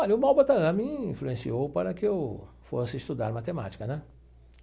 Olha, o Malba Tahan me influenciou para que eu fosse estudar matemática, né?